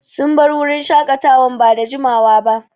Sun bar wurin shaƙatawa ba da jiamawa ba.